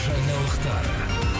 жаңалықтар